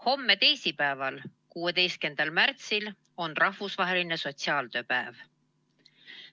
Homme, teisipäeval, 16. märtsil on rahvusvaheline sotsiaaltööpäev.